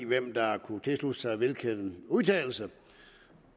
hvem der kunne tilslutte sig hvilken udtalelse